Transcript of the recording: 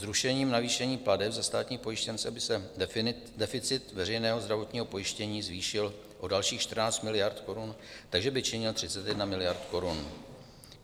Zrušením navýšení plateb za státní pojištěnce by se deficit veřejného zdravotního pojištění zvýšil o dalších 14 miliard korun, takže by činil 31 miliard korun.